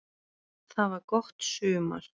Það var gott sumar.